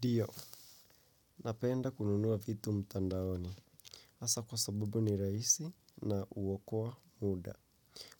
Dio, napenda kununua vitu mtandaoni. Hasa kwa sabubu ni rahisi na huokoa muda.